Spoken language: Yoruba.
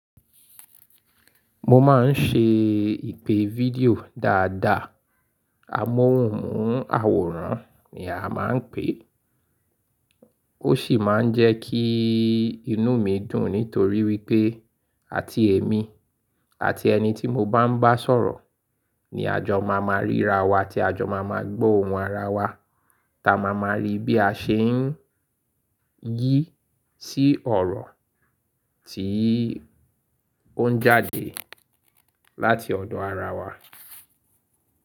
Mo ma n ṣe ìpè fídíò dáadáa. Amóhùn mu awòrán ni a ma n pè é. Ó sì ma n jẹ́ kí inú mi dùn nítorí wípé àti èmi àti ẹni tí mo bá n bá sọ̀rọ̀ ni àjọ máa ma ríra wa tí àjọ máa ma gbóhun ara wa, tà máa ma rí bí a ṣe n yí sí ọ̀rọ̀ tí ó n jáde láti ọ̀dọ̀ ara wa.